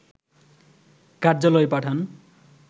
কার্যালয়ে পাঠান